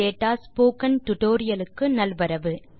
parsing data tutorial க்கு நல்வரவு